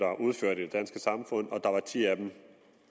i det danske samfund og der var ti af dem